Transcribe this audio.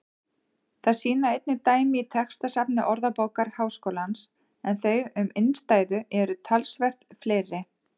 Það sýna einnig dæmi í textasafni Orðabókar Háskólans en þau um innstæðu eru talsvert fleiri.